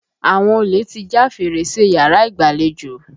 Àwọn olè ti já fèrèsé yàrá ìgbàlejò.